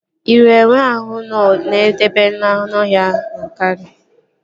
Ị hụrụ enwe ahụ nọ n'ebe ndobe anụọhịa Yankari?